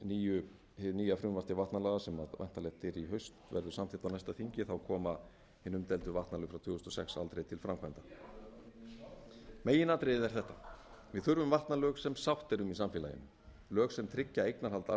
ef hið nýja frumvarp til vatnalaga sem væntanlegt er í haust verður samþykkt á næsta þingi koma hin umdeildu frá tvö þúsund og sex aldrei til framkvæmda meginatriðið er þetta við þurfum vatnalög sem sátt er um í samfélaginu lög sem tryggja eignarhald